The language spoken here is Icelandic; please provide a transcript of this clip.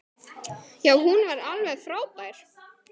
Já, hún var alveg frábær!